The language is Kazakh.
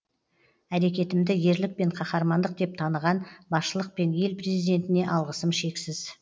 әрекетімді ерлік пен қаһармандық деп таныған басшылық пен ел президентіне алғысым шексіз